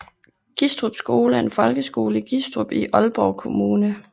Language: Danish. Gistrup Skole er en folkeskole i Gistrup i Aalborg Kommune